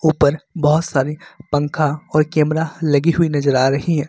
ऊपर बहोत सारी पंखा और कैमरा लगी हुई नजर आ रही है।